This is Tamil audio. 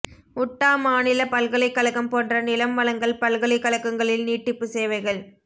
உட்டா மாநில பல்கலைக்கழகம் போன்ற நிலம் வழங்கல் பல்கலைக்கழகங்களில் நீட்டிப்பு சேவைகள்